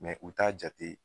u t'a jate